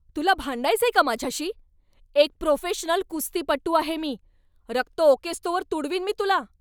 तुला भांडायचंय का माझ्याशी? एक प्रोफेशनल कुस्तीपटू आहे मी! रक्त ओकेस्तोवर तुडवीन मी तुला.